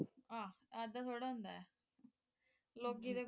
ਆਹ ਐਦਾਂ ਥੋੜਾ ਹੁੰਦਾ ਲੋਕੀ ਤਾਂ ਕੁਝ